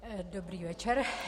Dobrý večer.